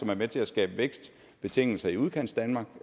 er med til at skabe vækstbetingelser i udkantsdanmark